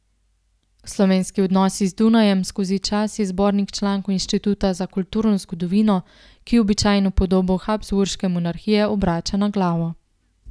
Slovenski odnosi z Dunajem skozi čas je zbornik člankov Inštituta za kulturno zgodovino, ki običajno podobo Habsburške monarhije obrača na glavo.